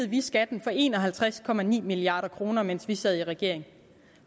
vi skatten for en og halvtreds milliard kr mens vi sad i regering